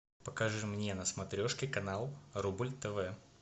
покажи мне на смотрешке канал рубль тв